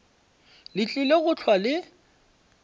le tlile go hlwa le